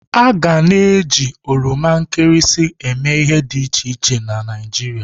A ga na eji oroma nkịrịsị emee ihe dị iche iche na Naịjirịa.